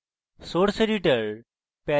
source editor